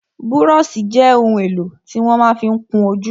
Búróṣì jẹ́ ohun èlò tí wọ́n ma fí ń kún ojú.